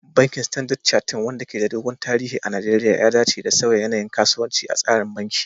Bankin Standard Chartered, wanda ke da dogon tarihi a Najeriya, ya dace da sauya yanayin kasuwanci a tsarin banki